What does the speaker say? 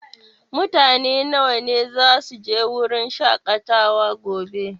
Mutane nawa ne zasu je wurin shaƙatawa gobe?